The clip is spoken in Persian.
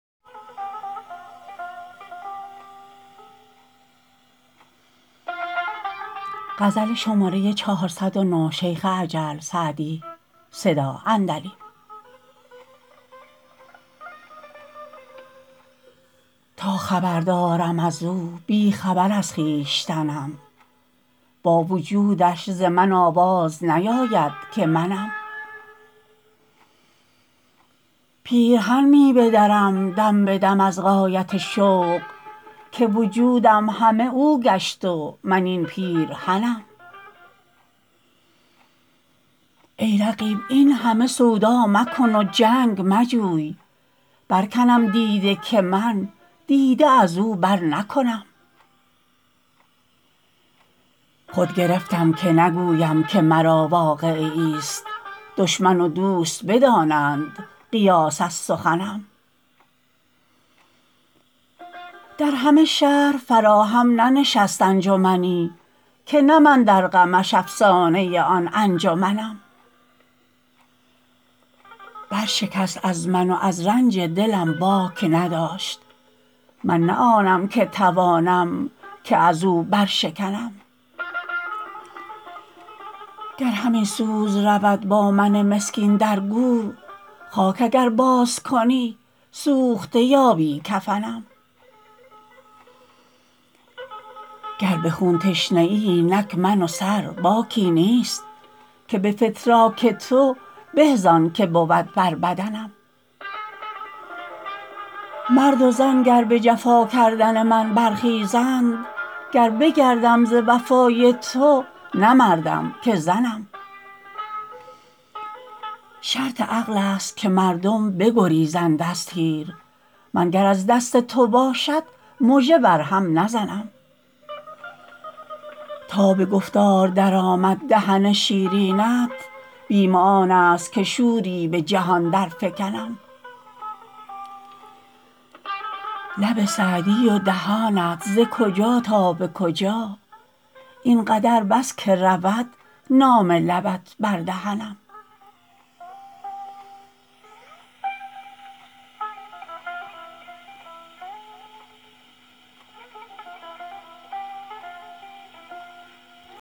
تا خبر دارم از او بی خبر از خویشتنم با وجودش ز من آواز نیاید که منم پیرهن می بدرم دم به دم از غایت شوق که وجودم همه او گشت و من این پیرهنم ای رقیب این همه سودا مکن و جنگ مجوی برکنم دیده که من دیده از او برنکنم خود گرفتم که نگویم که مرا واقعه ایست دشمن و دوست بدانند قیاس از سخنم در همه شهر فراهم ننشست انجمنی که نه من در غمش افسانه آن انجمنم برشکست از من و از رنج دلم باک نداشت من نه آنم که توانم که از او برشکنم گر همین سوز رود با من مسکین در گور خاک اگر بازکنی سوخته یابی کفنم گر به خون تشنه ای اینک من و سر باکی نیست که به فتراک تو به زان که بود بر بدنم مرد و زن گر به جفا کردن من برخیزند گر بگردم ز وفای تو نه مردم که زنم شرط عقل است که مردم بگریزند از تیر من گر از دست تو باشد مژه بر هم نزنم تا به گفتار درآمد دهن شیرینت بیم آن است که شوری به جهان درفکنم لب سعدی و دهانت ز کجا تا به کجا این قدر بس که رود نام لبت بر دهنم